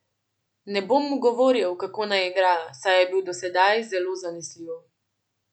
Ne bom mu govoril, kako naj igra, saj je bil do sedaj zelo zanesljiv.